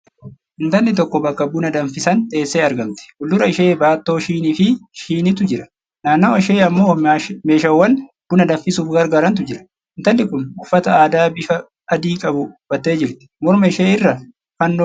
Intalli tokko bakka buna danfisan teessee argamti. Fuuldura ishee baattoo shinii fi shiniitu jira. Naannawa ishee ammoo meeshawwan buna danfisuuf gargaarantu jira. Intalli kun uffata aadaa bifa adii qabu uffattee jirti. Morma ishee irraa Fannoo qabdi.